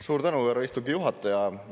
Suur tänu, härra istungi juhataja!